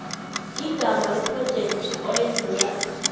igama lephrojekthi oyenzela